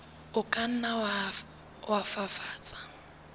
o ka nna wa fafatsa